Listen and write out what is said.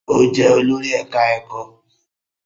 Ó jẹ́ olórí ẹ̀ká ẹ̀kọ́